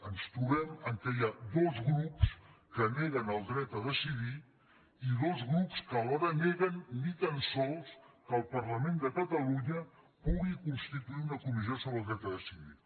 ens trobem que hi ha dos grups que neguen el dret a decidir i dos grups que alhora neguen ni tan sols que el parlament de catalunya pu·gui constituir una comissió sobre el dret a decidir